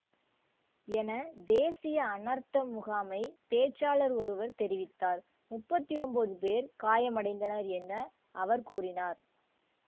என தேசிய அனர்த்த முகாமைப் பேச்சாளர் ஒருவர் தெரிவித்தார் முப்பத்தி ஒன்பது பேர் காயமடைந்தனர் என அவர் கூறினார்